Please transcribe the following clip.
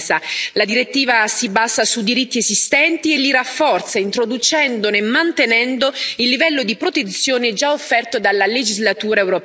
La direttiva si basa su diritti esistenti e li rafforza, introducendone e mantenendo il livello di protezione già offerto dalla legislatura europea.